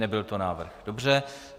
Nebyl to návrh, dobře.